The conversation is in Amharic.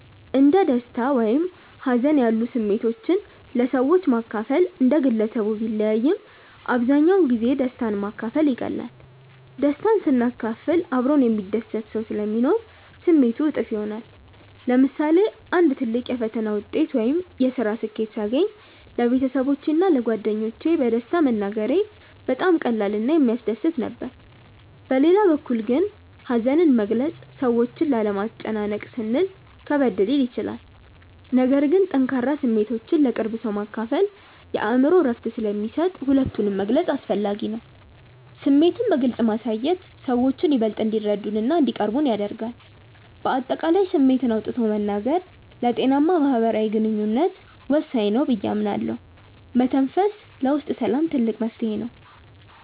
እንደ ደስታ ወይም ሀዘን ያሉ ስሜቶችን ለሰዎች ማካፈል እንደ ግለሰቡ ቢለያይም፣ አብዛኛውን ጊዜ ደስታን ማካፈል ይቀላል። ደስታን ስናካፍል አብሮን የሚደሰት ሰው ስለሚኖር ስሜቱ እጥፍ ይሆናል። ለምሳሌ አንድ ትልቅ የፈተና ውጤት ወይም የስራ ስኬት ሳገኝ ለቤተሰቦቼ እና ለጓደኞቼ በደስታ መናገሬ በጣም ቀላል እና የሚያስደስት ነበር። በሌላ በኩል ግን ሀዘንን መግለጽ ሰዎችን ላለማስጨነቅ ስንል ከበድ ሊል ይችላል። ነገር ግን ጠንካራ ስሜቶችን ለቅርብ ሰው ማካፈል የአእምሮ እረፍት ስለሚሰጥ ሁለቱንም መግለጽ አስፈላጊ ነው። ስሜትን በግልጽ ማሳየት ሰዎችን ይበልጥ እንዲረዱንና እንዲቀርቡን ያደርጋል። በአጠቃላይ ስሜትን አውጥቶ መናገር ለጤናማ ማህበራዊ ግንኙነት ወሳኝ ነው ብዬ አምናለሁ። መተንፈስ ለውስጥ ሰላም ትልቅ መፍትሄ ነው።